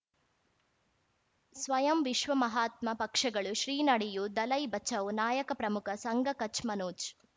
ಸ್ವಯಂ ವಿಶ್ವ ಮಹಾತ್ಮ ಪಕ್ಷಗಳು ಶ್ರೀ ನಡೆಯೂ ದಲೈ ಬಚೌ ನಾಯಕ ಪ್ರಮುಖ ಸಂಘ ಕಚ್ ಮನೋಜ್